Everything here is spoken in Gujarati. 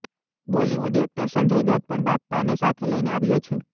બોલિવૂડ એક્ટર સંજય દત્ત પણ બાપ્પાને સાથે લઈને આવ્યો છે